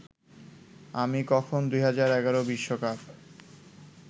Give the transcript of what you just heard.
আমি কখন ২০১১ বিশ্বকাপ